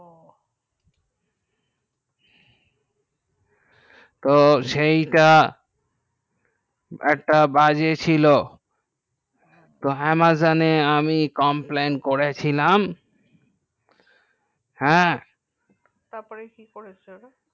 তো সেই টা একটা বাজে ছিল তো amazon আমি complan করে ছিলাম হ্যাঁ তার পর কি করেছো